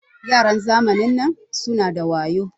Yaran zamanin nan suna da wayo.